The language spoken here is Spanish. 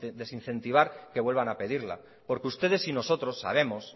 desincentivar que vuelvan a pedirla porque ustedes y nosotros sabemos